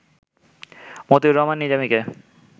Motiur Rahman নিজামীকে